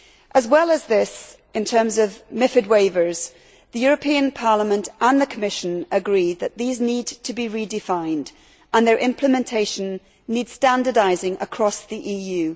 As well as this, in terms of MiFID waivers, the European Parliament and the Commission agree that these need to be redefined and their implementation needs to be standardised across the EU.